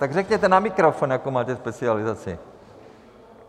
Tak řekněte na mikrofon, jakou máte specializaci.